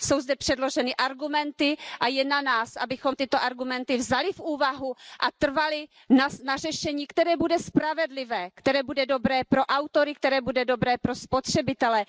Jsou zde předloženy argumenty a je na nás, abychom tyto argumenty vzali v úvahu a trvali na řešení, které bude spravedlivé, které bude dobré pro autory, které bude dobré pro spotřebitele.